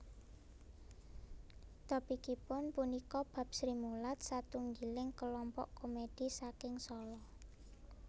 Topikipun punika bab Srimulat satunggiling kelompok komédhi saking Sala